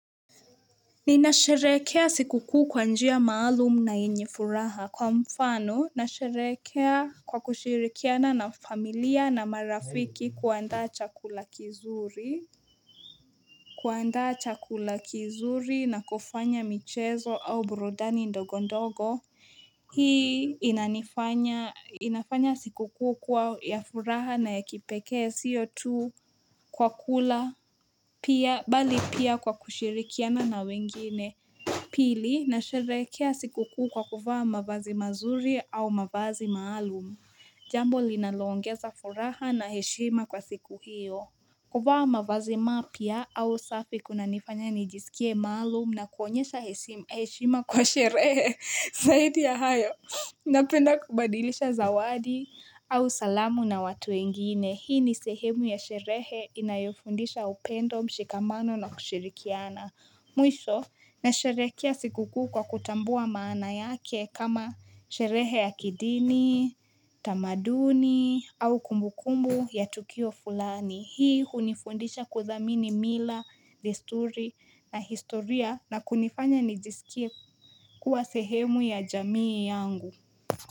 Nina sheherekea sikukuu kwa njia maalum na yenye furaha. Kwa mfano, nasheherekea kwa kushirikiana na familia na marafiki kuandaa chakula kizuri. Kuandaa chakula kizuri na kufanya michezo au burundani ndogo ndogo. Hii inanifanya. Inafanya sikukuu kuwa ya furaha na ya kipekee sio tu kwa kula. Pia, bali pia kwa kushirikiana na wengine. Pili na sheherekea sikukuu kwa kuvaa mavazi mazuri au mavazi maalum. Jambo linalo ongeza furaha na heshima kwa siku hiyo. Kuvaa mavazi mapya au safi kuna nifanya nijisikie maalum na kuonyesha hesi heshima kwa sherehe. Zaidi ya hayo, napenda kubadilisha zawadi au salamu na watu wengine. Hii ni sehemu ya sherehe inayofundisha upendo mshikamano na kushirikiana. Mwisho, nasheherekea sikukuu kwa kutambua maana yake kama sherehe ya kidini, tamaduni, au kumbukumbu ya tukio fulani. Hii hunifundisha kudhamini mila, desturi na historia na kunifanya nijisikie kuwa sehemu ya jamii yangu.